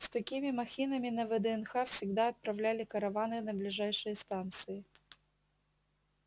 с такими махинами на вднх всегда отправляли караваны на ближайшие станции